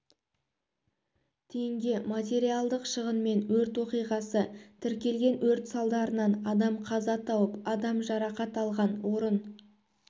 теңге материалдық шығынмен өрт оқиғасы тіркелген өрт салдарынан адам қаза тауып адам жарақат алған орын